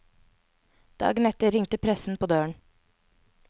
Dagen etter ringte pressen på døren.